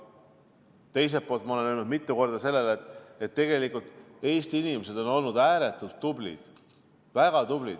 Teiselt poolt ma olen öelnud mitu korda seda, et Eesti inimesed on olnud ääretult tublid, väga tublid.